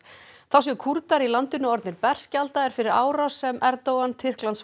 þá séu Kúrdar í landinu orðnir berskjaldaðir fyrir árás sem Erdogan